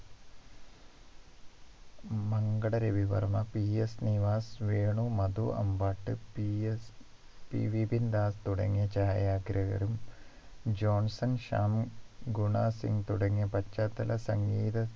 Mankada Ravivarma PS Nivas Venu Madhu Ambat PSP Vipindas തുടങ്ങിയ ചായാഗ്രാഹകരും Johnson Shyam Guna Singh തുടങ്ങിയ പശ്ചാത്തല സംഗീത